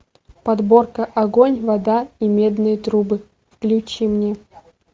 подборка огонь вода и медные трубы включи мне